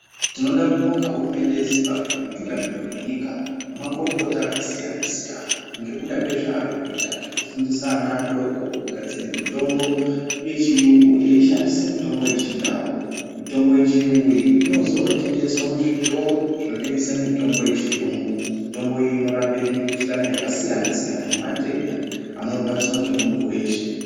Tinoda kubonga hurumende yezimbambwe nemitunganiri venyika nemukurukota akasiyana-siyana. Ngekuda kwezvarikuita zvekufundisa ana adoko kugadzire mitombo yechiyungu eishandise mitombo yechindau. Mitombo yechiyungu iyi inozotengeswa muzvitoro zvinotengesa mitombo yechiyungu. Mitombo iyi inorape mikuhlani yakasiyana-siyana nematenda anorwadziva ngemuntu veshe..